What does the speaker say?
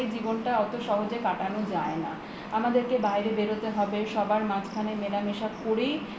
জীবনটা অত সহজ ভাবে কাটানো যায় না আমাদেরকে বাইরে বেরোতে হবে সবার মাঝখানে মেলা মেশা করেই